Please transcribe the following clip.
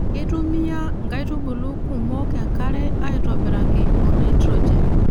Keitumiya nkaitubulu kumok enkare aaitobiraki o nitrojen.